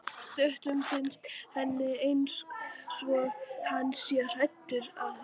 Stundum finnst henni einsog hann sé hættur að vinna.